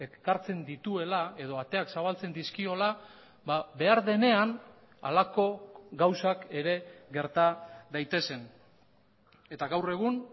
ekartzen dituela edo ateak zabaltzen dizkiola behar denean halako gauzak ere gerta daitezen eta gaur egun